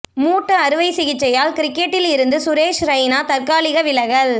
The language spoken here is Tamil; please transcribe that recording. மூட்டு அறுவை சிகிச்சையால் கிரிக்கெட்டில் இருந்து சுரேஷ் ரெய்னா தற்காலிக விலகல்